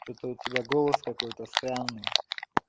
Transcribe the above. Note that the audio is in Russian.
что-то у тебя голос какой-то странный